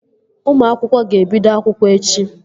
Ụmụ akwụkwọ ga-ebido akwụkwọ echi